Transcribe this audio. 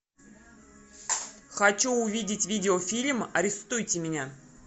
хочу увидеть видеофильм арестуйте меня